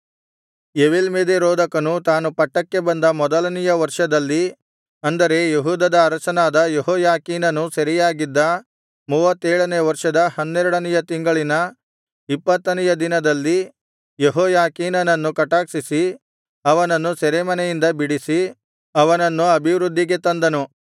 ಎವೀಲ್ಮೆರೋದಕನು ತಾನು ಪಟ್ಟಕ್ಕೆ ಬಂದ ಮೊದಲನೆಯ ವರ್ಷದಲ್ಲಿ ಅಂದರೆ ಯೆಹೂದದ ಅರಸನಾದ ಯೆಹೋಯಾಖೀನನು ಸೆರೆಯಾಗಿದ್ದ ಮೂವತ್ತೇಳನೆಯ ವರ್ಷದ ಹನ್ನೆರಡನೆಯ ತಿಂಗಳಿನ ಇಪ್ಪತ್ತೇಳನೆಯ ದಿನದಲ್ಲಿ ಯೆಹೋಯಾಖೀನನನ್ನು ಕಟಾಕ್ಷಿಸಿ ಅವನನ್ನು ಸೆರೆಮನೆಯಿಂದ ಬಿಡಿಸಿ ಅವನನ್ನು ಅಭಿವೃದ್ಧಿಗೆ ತಂದನು